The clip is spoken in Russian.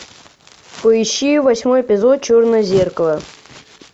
поищи восьмой эпизод черное зеркало